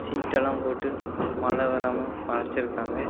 சீட்டெலா போட்டு மழ வராம மறச்சிருக்காங்க.